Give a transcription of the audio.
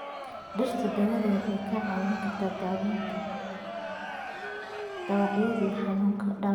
Dhirta daawada waxay ka caawin kartaa daaweynta dhaawacyada iyo xanuunka.